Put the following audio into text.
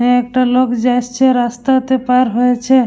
এ একটা লোক যাসছে রাস্তাতে পার হয়েছে।